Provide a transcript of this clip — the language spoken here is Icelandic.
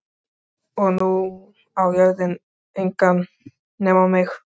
Og nú á jörðin engan að nema mig.